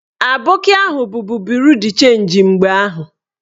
Aboki ahụ bubu buru d chenji mgbe ahụ